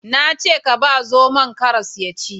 Na ce ka ba zomon karas ya ci